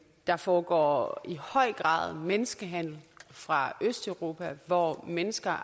der foregår i høj grad menneskehandel fra østeuropa hvor mennesker